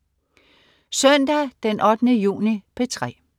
Søndag den 8. juni - P3: